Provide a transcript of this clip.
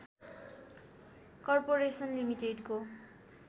corporation लिमिटेडको